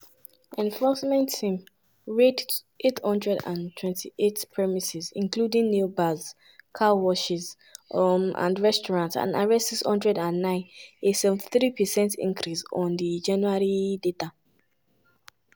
enforcement team raid 828 premises including nail bars car washes um and restaurants and arrest 609 - a 73 percent increase on di january data.